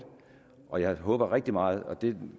og jeg håber rigtig meget og det